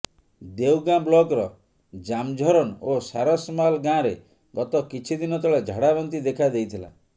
ଦେଓଗାଁ ବ୍ଲକର ଜାମଝରନ ଓ ସାରସମାଲ ଗାଁରେ ଗତ କିଛି ଦିନ ତଳେ ଝାଡ଼ାବାନ୍ତି ଦେଖାଦେଇଥିଲା